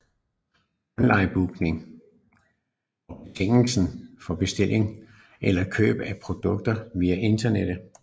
Onlinebooking er betegnelsen for bestilling eller køb af produkter via internettet